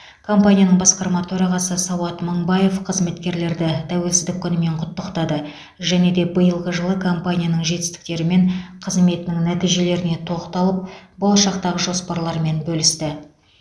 компанияның басқарма төрағасы сауат мыңбаев қызметкерлерді тәуелсіздік күнімен құттықтады және де биылғы жылы компанияның жетістіктері мен қызметінің нәтижелеріне тоқталып болашақтағы жоспарлармен бөлісті